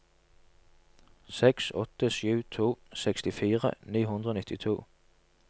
seks åtte sju to sekstifire ni hundre og nittito